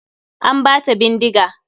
An bata bindiga.